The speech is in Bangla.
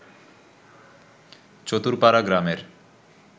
চতুরপাড়া গ্রামের